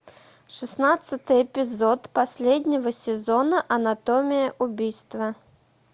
шестнадцатый эпизод последнего сезона анатомия убийства